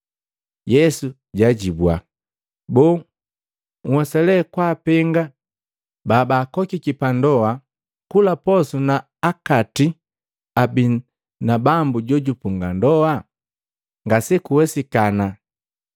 Yesu jaajibua, “Boo, nhwesa le kwaapenga babaakokiki pandoa kula posu na akati abii na bambu jojupunga ndoa? Ngakuwesikana!